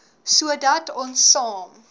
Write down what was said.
sodat ons saam